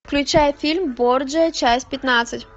включай фильм борджиа часть пятнадцать